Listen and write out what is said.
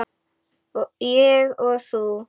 Ég og þú.